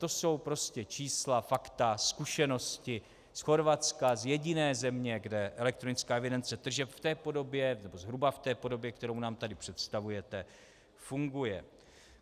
To jsou prostě čísla, fakta, zkušenosti z Chorvatska, z jediné země, kde elektronická evidence tržeb v té podobě, nebo zhruba v té podobě, kterou nám tady představujete, funguje.